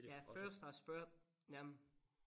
Jeg først har spurgt dem